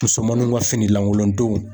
Musomaninw ka fini lankolon dnw.